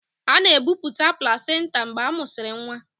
A na-ebupụta placinta mgbe a mụsịrị nwa.